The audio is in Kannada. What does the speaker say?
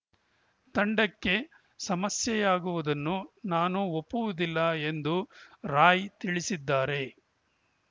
ತಂಡಕ್ಕೆ ಸಮಸ್ಯೆಯಾಗುವುದನ್ನು ನಾನು ಒಪ್ಪುವುದಿಲ್ಲ ಎಂದು ರಾಯ್‌ ತಿಳಿಸಿದ್ದಾರೆ